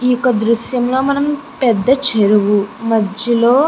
ఈ యొక్క దృశ్యంలో మనం పెద్ద చెరువు మధ్యలో --